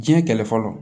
Diɲɛ kɛlɛ fɔlɔ